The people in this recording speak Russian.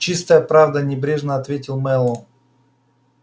чистая правда небрежно ответил мэллоу